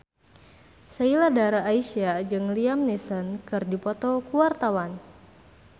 Sheila Dara Aisha jeung Liam Neeson keur dipoto ku wartawan